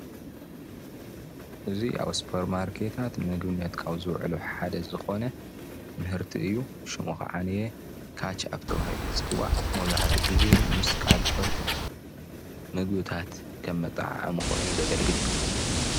እዚ ኣብ ሱፐር ማርኬታት ንምግብነት ካብ ዝውዕሉ ሓደ ዝኾነ ምህርት እዩ። ሽም ከዓ ካችኣብ ተበሂሉ እዩ ዝፅዋዕ መብዛሕትኡ ግዚ ምስ ካልኦት ምግቢታት ከም መጣዓዓሚ ኮይኑ ዝግልግል እዩ።